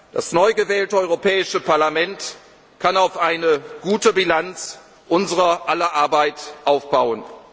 weltweit. Das neu gewählte Europäische Parlament kann auf eine gute Bilanz unser aller Arbeit